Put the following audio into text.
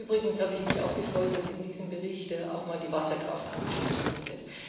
Übrigens habe ich mich auch gefreut, dass in diesem Bericht auch mal die Wasserkraft angesprochen wurde.